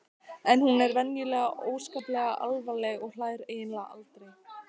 En hún er venjulega óskaplega alvarleg og hlær eiginlega aldrei.